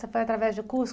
Você foi através de curso?